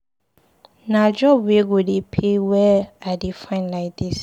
Na job wey go dey pay well I dey find lai dis.